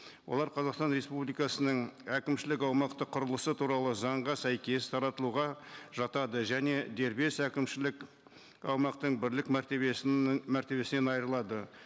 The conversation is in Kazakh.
олар қазақстан республикасының әкімшілік аумақтық құрылысы туралы заңға сәйкес таратылуға жатады және дербес әкімшілік аумақтың бірлік мәртебесінен айырылады